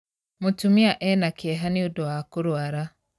Mũtumia ena kĩeha nĩũndũ wa kurwara.